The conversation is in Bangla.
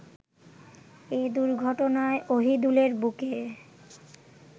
এ দুর্ঘটনায় অহিদুলের বুকে